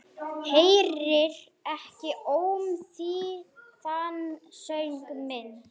Heyrir ekki ómþýðan söng minn.